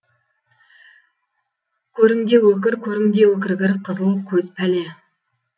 көріңде өкір көріңде өкіргір қызыл көз пәле